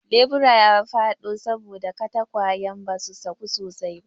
lebura ya faɗo saboda katakwayan basu saku sosai ba